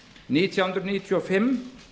nítján hundruð níutíu og fimm